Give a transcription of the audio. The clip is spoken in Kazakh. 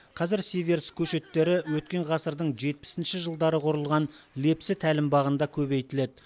қазір сиверс көшеттері өткен ғасырдың жетпісінші жылдары құрылған лепсі тәлімбағында көбейтіледі